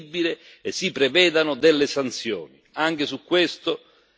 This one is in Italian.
Si faccia una lista credibile e si prevedano delle sanzioni.